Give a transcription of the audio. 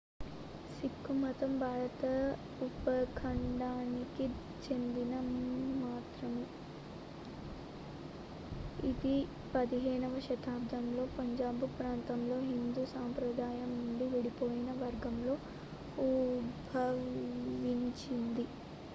సిక్కు మతం భారత ఉపఖండానికి చెందిన మతం ఇది 15వ శతాబ్దంలో పంజాబ్ ప్రాంతంలో హిందూ సంప్రదాయం నుండి విడిపోయిన వర్గంతో ఉద్భవించింది